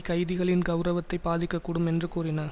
கைதிகளின் கெளரவத்தை பாதிக்கக்கூடும் என்று கூறின